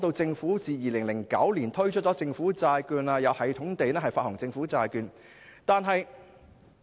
政府自2009年推出政府債券後，一直有系統地發行政府債券。